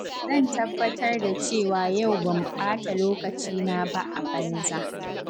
Zan tabbatar da cewa yau ban ɓata lokacina ba a banza.